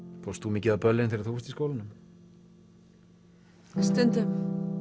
fórst þú mikið á böllin þegar þú varst í skólanum stundum